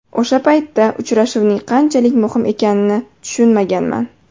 O‘sha paytda uchrashuvning qanchalik muhim ekanini tushunmaganman.